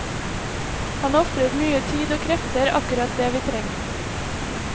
Han ofrer mye tid og krefter, akkurat det vi trenger.